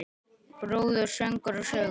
Brúður, söngur og sögur.